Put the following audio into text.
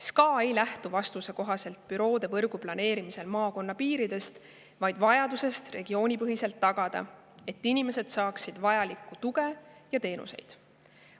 SKA ei lähtu vastuse kohaselt büroovõrgu planeerimisel maakonnapiiridest, vaid vajadusest igas regioonis tagada, et inimesed saaksid vajalikku tuge ja teenuseid.